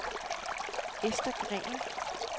Esther Green